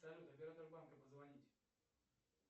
салют оператор банка позвонить